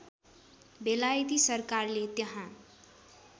बेलायती सरकारले त्यहाँ